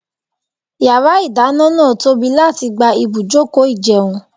Yàrá ìdáná náà tóbi láti gba ibùjókòó ìjẹun.